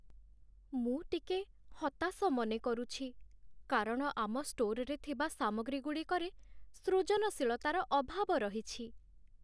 ମୁଁ ଟିକେ ହତାଶ ମନେକରୁଛି, କାରଣ ଆମ ଷ୍ଟୋରରେ ଥିବା ସାମଗ୍ରୀଗୁଡ଼ିକରେ ସୃଜନଶୀଳତାର ଅଭାବ ରହିଛି।